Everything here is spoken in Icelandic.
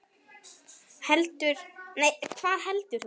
Hvað heldur þú?